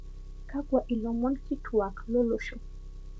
kakwa ilomon kituak lolosho